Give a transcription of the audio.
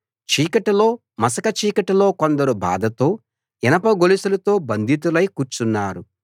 చీకటిలో మసక చీకటిలో కొందరు బాధతో ఇనప గొలుసులతో బంధితులై కూర్చున్నారు